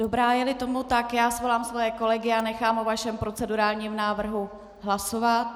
Dobrá, je-li tomu tak, svolám svoje kolegy a nechám o vašem procedurálním návrhu hlasovat.